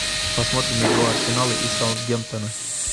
посмотрим игру арсенала и саутгемптона